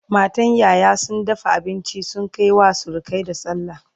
matan ƴaƴa sun dafa abinci sun Kai wa surukai da sallah